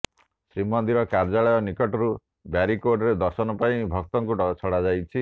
ଶ୍ରୀମନ୍ଦିର କାର୍ଯ୍ୟାଳୟ ନିକଟରୁ ବ୍ୟାରିକେଡରେ ଦର୍ଶନ ପାଇଁ ଭକ୍ତଙ୍କୁ ଛଡ଼ାଯାଉଛି